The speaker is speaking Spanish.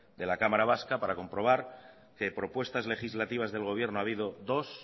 de la cámara vasca para comprobar que propuestas legislativas del gobierno ha habido dos